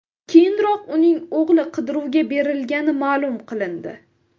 Keyinroq uning o‘g‘li qidiruvga berilgani ma’lum qilindi .